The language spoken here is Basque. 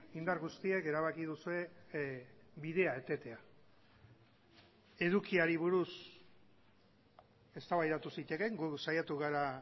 indar guztiek erabaki duzue bidea etetea edukiari buruz eztabaidatu zitekeen gu saiatu gara